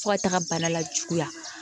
Fo ka taga bana lajuguya